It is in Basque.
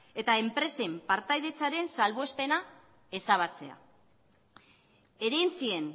eta enpresen partaidetzaren salbuespena ezabatzea herentzien